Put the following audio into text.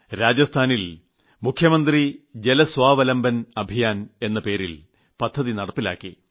രാജസ്ഥാനിൽ മുഖ്യമന്ത്രി ജലസ്വാവലംബൻ അഭിയാൻ എന്ന പേരിൽ പദ്ധതി നടപ്പിലാക്കി